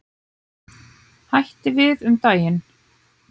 Hætti við um daginn.